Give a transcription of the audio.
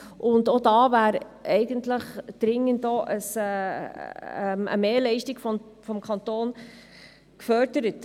Auch da wäre dringend eine Mehrleistung des Kantons gefordert.